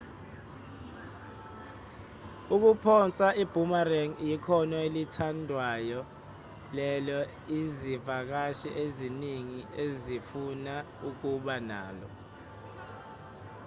ukuphonsa i-boomerang ikhono elithandwayo lelo izivakashi eziningi ezifuna ukuba nalo